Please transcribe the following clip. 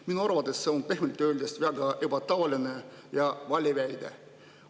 Minu arvates see on pehmelt öeldes väga ebatavaline ja vale väide.